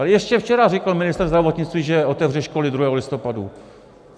Ale ještě včera řekl ministr zdravotnictví, že otevře školy 2. listopadu.